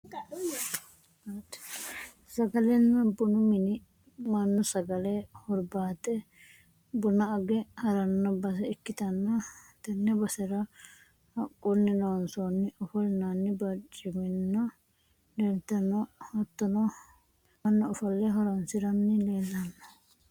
sagalenna bunu mini mannu sagale hurbaaxxe buna age haranno base ikkitanna, tenne basera haqqunni loonsoonni ofolinanni barcimmano leeltanno hattono mannu ofolle horonsiranni leelanno.